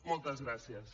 moltes gràcies